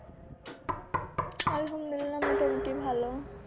আলহামদুলিল্লাহ মোটামুটি ভালো